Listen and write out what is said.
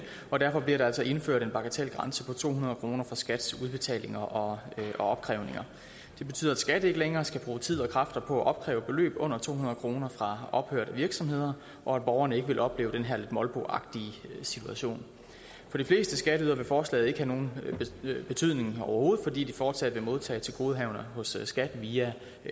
derfor bliver der altså indført en bagatelgrænse på to hundrede kroner på skats udbetalinger og opkrævninger det betyder at skat ikke længere skal bruge tid og kræfter på at opkræve beløb under to hundrede kroner fra ophørte virksomheder og at borgerne ikke vil opleve den her lidt molboagtige situation for de fleste skatteydere vil forslaget ikke have nogen betydning overhovedet fordi de fortsat vil modtage tilgodehavender hos skat via